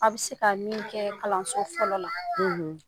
A bɛ se ka min kɛ kalanso fɔlɔ la.